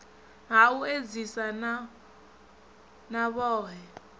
ha u edzisa na vhohe